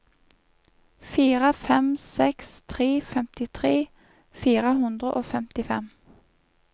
fire fem seks tre femtitre fire hundre og femtifem